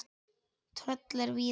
Tröll eru víða.